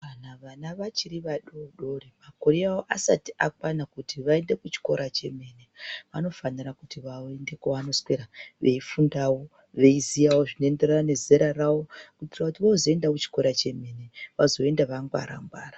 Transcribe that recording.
Kana vana vachiri vadodori, makore avo asati akwana kuti vaende kuchikora chemene , vanofanira kuti vaende kwavanoswera, veifundawo, veiziyawo zvinoenderana nezera ravo, kuti vozoenda kuchikora chemene, vazoenda vangwara-ngwara.